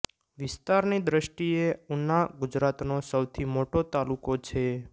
વિસ્તારની દ્રષ્ટિ એ ઉના ગુજરાતનો સૌથી મોટો તાલુકો છે